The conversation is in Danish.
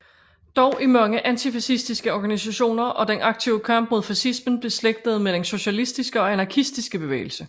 Dog er mange antifascistiske organisationer og den aktive kamp mod fascismen beslægtede med den socialistiske og anarkistiske bevægelse